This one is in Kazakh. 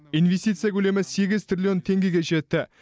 инвестиция көлемі сегіз триллион теңгеге жетті